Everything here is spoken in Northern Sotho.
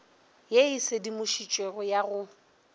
ye e sedimošitšwego ya go